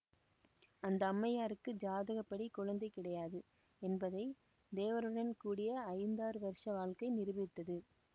அந்த அம்மையாருக்கு ஜாதகப்படி குழந்தை கிடையாது என்பதை தேவருடன் கூடிய ஐந்தாறு வருஷ வாழ்க்கை நிரூபித்தது